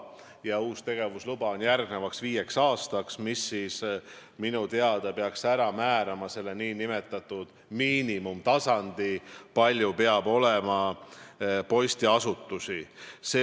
See uus tegevusluba on järgmiseks viieks aastaks ja minu teada see peaks ära määrama miinimumarvu, kui palju peab olema postiasutusi.